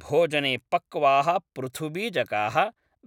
भोजने पक्वाः पृथुबीजकाः,